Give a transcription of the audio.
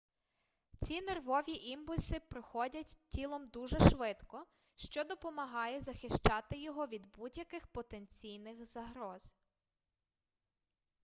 ці нервові імпульси проходять тілом дуже швидко що допомагає захищати його від будь-яких потенційних загроз